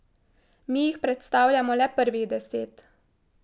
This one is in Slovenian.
Mi jih predstavljamo le prvih deset.